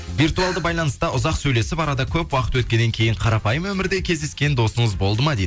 виртуалды байланыста ұзақ сөйлесіп арада көп уақыт өткеннен кейін қарапайым өмірде кездескен досыңыз болды ма дейді